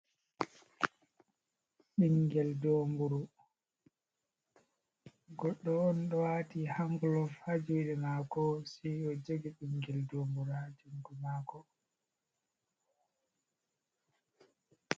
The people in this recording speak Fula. Ɓingel doomburu, goɗɗo on ɗo wati han gulov hajuɗe mako, sei o jogi ɓingel dombura jungo mako.